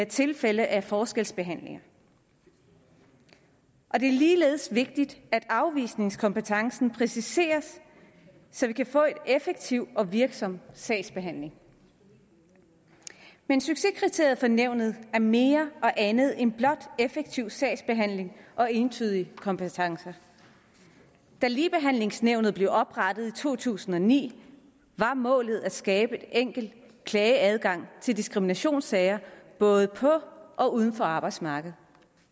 tilfælde af forskelsbehandling det er ligeledes vigtigt at afvisningskompetencen præciseres så vi kan få en effektiv og virksom sagsbehandling men succeskriteriet for nævnet er mere og andet end blot effektiv sagsbehandling og entydige kompetencer da ligebehandlingsnævnet blev oprettet i to tusind og ni var målet at skabe en enkel klageadgang i diskriminationssager både på og uden for arbejdsmarkedet